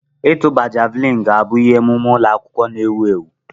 Ịtụba javuliini ga-abụ ihe omume ụlọ akwụkwọ na-ewu ewu.